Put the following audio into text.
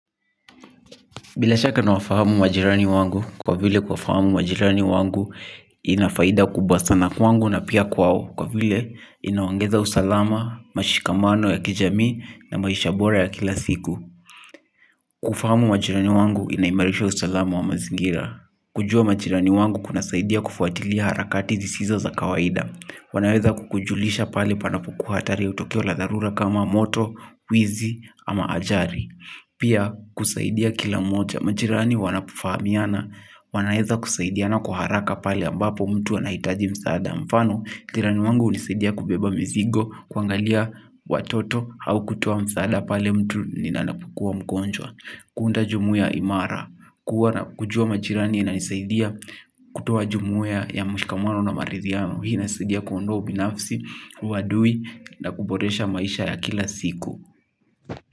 Bila shaka nawafahamu majirani wangu kwa vile kuwafahamu majirani wangu ina faida kubasa na kwangu na pia kwao kwa vile inaongeza usalama, mashikamano ya kijamii na maisha bora ya kila siku. Kufahamu majirani wangu inaimbalisha usalama wa mazingira. Kujua majirani wangu kunasaidia kufuatilia harakati zisizo za kawaida. Wanaweza kukujulisha pale panapokuwa hatari au tukio la dharura kama moto, wizi ama ajali. Pia kusaidia kila mmoja, majirani wanapofahamiana, wanaeza kusaidiana kwa haraka pale ambapo mtu anahitaji msaada mfano, jirani wangu unisaidia kubeba mizigo, kuangalia watoto au kutoa msaada pale mtu ninanapokua mgonjwa. Kuunda jumuiya imara, kujua majirani inanisaidia kutoa jumuiya ya mshikamano na marithiano, hii inasidia kuondoa ubinafsi, uadui na kuboresha maisha ya kila siku.